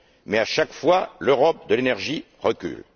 Mais, à chaque fois, l'Europe de l'énergie recule.